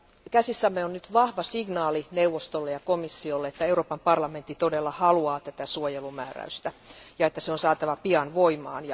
Käsissämme on nyt vahva signaali neuvostolle ja komissiolle siitä, että Euroopan parlamentti todella haluaa tätä suojelumääräystä ja että se on saatava pian voimaan.